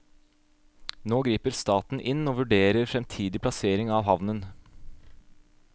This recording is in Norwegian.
Nå griper staten inn og vurderer fremtidig plassering av havnen.